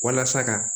Walasa ka